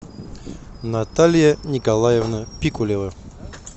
наталья николаевна пикулева